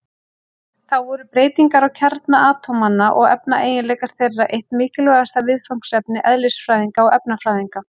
Þá voru breytingar á kjarna atómanna og efnaeiginleikar þeirra eitt mikilvægasta viðfangsefni eðlisfræðinga og efnafræðinga.